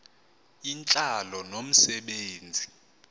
intlalo nomse benzi